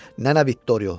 Nənə Viktorio.